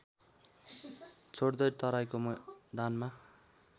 छोड्दै तराइको मैदानमा